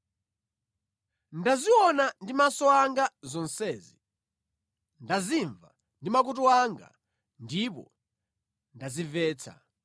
“Ndaziona ndi maso anga zonsezi, ndazimva ndi makutu anga ndipo ndazimvetsa.